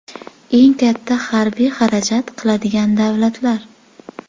Eng katta harbiy xarajat qiladigan davlatlar.